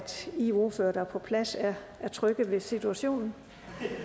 i ordførere der er på plads er trygge ved situationen